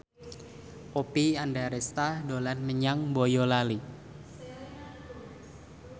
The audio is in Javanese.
Oppie Andaresta dolan menyang Boyolali